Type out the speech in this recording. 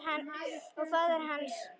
Og faðir hans?